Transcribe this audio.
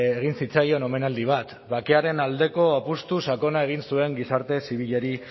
egin zitzaion omenaldi bat bakearen aldeko apustu sakona egin zuen gizarte zibilari